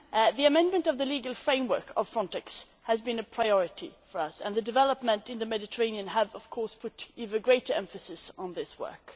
The amendment of the legal framework of FRONTEX has been a priority for us, and the developments in the Mediterranean have of course put even greater emphasis on this work.